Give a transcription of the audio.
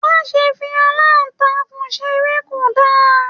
Má ṣe fi alantakun seré, ko dára!